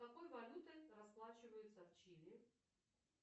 какой валютой расплачиваются в чили